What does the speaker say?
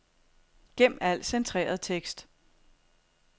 Gem al centreret tekst.